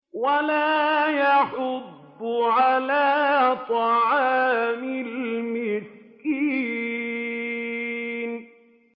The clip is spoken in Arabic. وَلَا يَحُضُّ عَلَىٰ طَعَامِ الْمِسْكِينِ